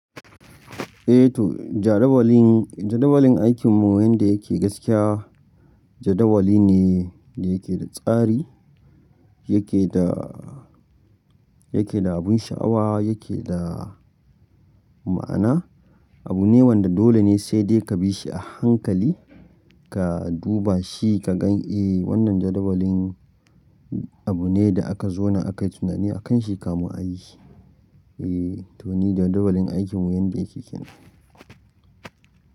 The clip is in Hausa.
Eh to jadawalin, jadawalin aikinmu wanda yake gaskiya jadawali ne da yake da tsari, yake da, yake da abun sha'awa, yake da ma'ana. Abu ne wanda dole ne sai dai ka bi shi a hankali, ka duba shi ka gan "Eh wannan jadawalin abu ne da aka zauna aka yi tunani a kan shi ka mun a yi shi." Eh to ni jadawalin aikinmu yanda yake kenan.